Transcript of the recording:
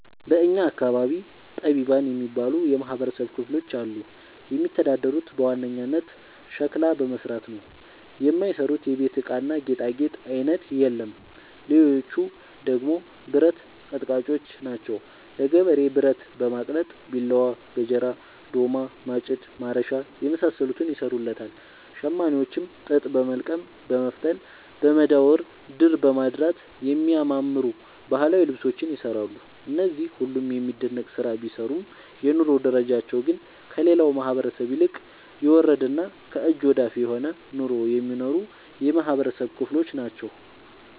በእኛ አካባቢ ጠቢባን የሚባሉ የማህበረሰብ ክፍሎች አሉ። የሚተዳደሩት በዋናነት ሸክላ በመስራት ነው። የማይሰሩት የቤት እቃና ጌጣጌጥ አይነት የለም ሌቹ ደግሞ ብረት አቀጥቃጭጮች ናቸው። ለገበሬው ብረት በማቅለጥ ቢላዋ፣ ገጀራ፣ ዶማ፣ ማጭድ፣ ማረሻ የመሳሰሉትን ይሰሩለታል። ሸማኔዎች ጥጥ በወልቀም በመፍተል፣ በማዳወር፣ ድር በማድራት የሚያማምሩ ባህላዊ ልብሶችን ይሰራሉ። እነዚህ ሁሉም የሚደነቅ ስራ ቢሰሩም የኑሮ ደረጃቸው ግን ከሌላው ማህበረሰብ ይልቅ የወረደና ከእጅ ወዳፍ የሆነ ኑሮ የሚኖሩ የማህበረሰብ ክሎች ናቸው።